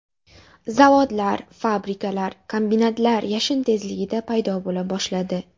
Zavodlar, fabrikalar, kombinatlar yashin tezligida paydo bo‘la boshladi.